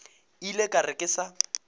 ile ka re ke sa